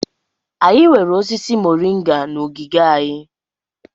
Anyị nwere osisi mọrịnga na ogige anyị.